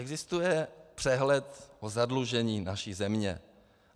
Existuje přehled o zadlužení naší země.